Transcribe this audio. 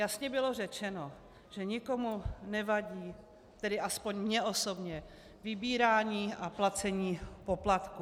Jasně bylo řečeno, že nikomu nevadí, tedy aspoň mně osobně, vybírání a placení poplatků.